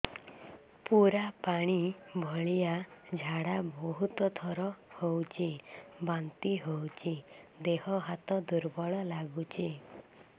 ପୁରା ପାଣି ଭଳିଆ ଝାଡା ବହୁତ ଥର ହଉଛି ବାନ୍ତି ହଉଚି ଦେହ ହାତ ଦୁର୍ବଳ ଲାଗୁଚି